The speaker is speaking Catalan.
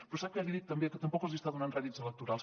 però sap què li dic també que tampoc els hi està donant rèdits electorals